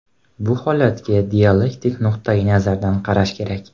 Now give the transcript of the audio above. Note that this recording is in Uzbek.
Bu holatga dialektik nuqtayi nazardan qarash kerak.